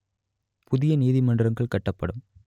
புதிய நீதிமன்றங்கள் கட்டப்படும்